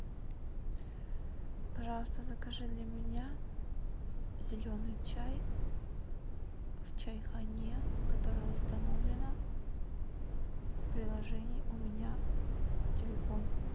пожалуйста закажи для меня зеленый чай в чайхане которая установлена в приложении у меня в телефоне